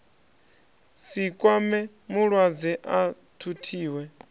si kwame mulwadze a thuthiwe